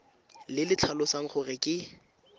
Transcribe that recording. le le tlhalosang gore ke